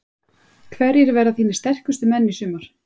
Hverjir verða þínir sterkustu menn í sumar?